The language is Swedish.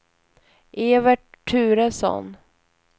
Evert Turesson